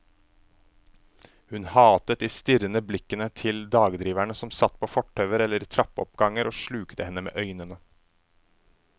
Hun hatet de strirrende blikkende til dagdriverne som satt på fortauer eller i trappeoppganger og slukte henne med øynene.